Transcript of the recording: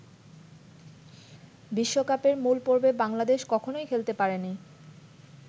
বিশ্বকাপের মূল পর্বে বাংলাদেশ কখনোই খেলতে পারেনি।